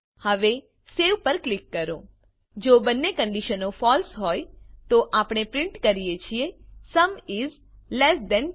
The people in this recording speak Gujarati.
હવે સવે પર ક્લિક કરો જો બંને કંડીશનો ફળસે હોય તો આપણે પ્રીંટ કરીએ છીએ સુમ ઇસ લેસ થાન 10